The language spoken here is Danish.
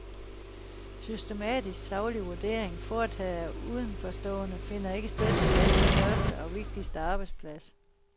Systematisk saglig vurdering, foretaget af udenforstående, finder ikke sted på landets største og vigtigste arbejdsplads.